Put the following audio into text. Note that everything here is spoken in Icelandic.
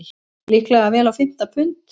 Líklega vel á fimmta pund.